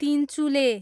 Tinchule